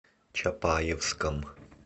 чапаевском